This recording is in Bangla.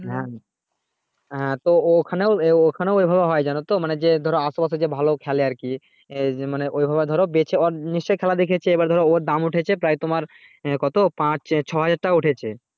হ্যাঁ তো ও ওখানে ওখানেও হয় জানোতো মানে যে ধরো আসে পাশে যে ভালো খেলে খেলে আর কি এই মানে ঐভাবে ধরো বেঁচে ওর নিশ্চই খেলা দেখেছে আবার ধরো ওর দাম উঠেছে প্রায় তোমার কত পাঁচ ছ হাজার টাকা উঠেছে